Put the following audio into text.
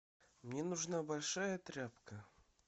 мне нужна большая тряпка